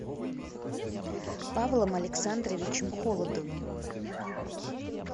павлом александровичем холодовым